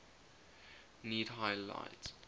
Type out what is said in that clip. need high light